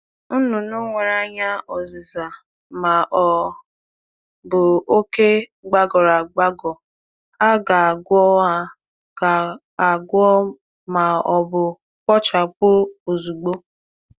Anụ um ọkụkọ nwere anya agbawanyeworo maọbụ olu gbagọrọ um agbagọ kwesịrị inata ọgwụgwọ maọbụ ka e kwụsị ya ozugbo.